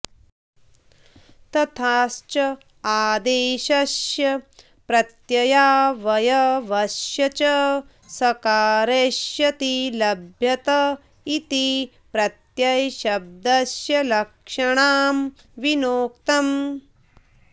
तथाच आदेशस्य प्रत्ययावयवस्य च सकारस्येति लभ्यत इति प्रत्ययशब्दस्य लक्षणां विनोक्तम्